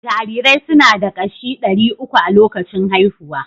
Jarirai suna da kashi ɗari uku a lokacin haihuwa